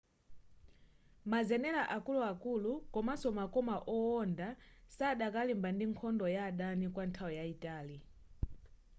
mazenela akuluakulu komanso makoma owonda sadakalimba ndi nkhondo ya adani kwanthawi yaitali